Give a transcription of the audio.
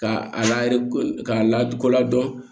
K'a layiru k'a lakodɔn